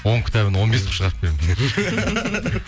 он кітабын он бес қылып шығарып беремін